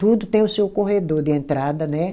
Tudo tem o seu corredor de entrada, né?